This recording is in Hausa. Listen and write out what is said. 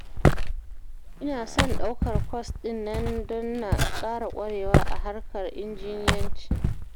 Ina son daukar kwas ɗin nan don na ƙara ƙwarewa a harkar injiniyanci